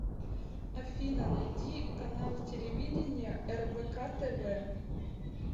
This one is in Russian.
афина найди канал телевидения рбк тв